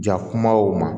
Ja kumaw ma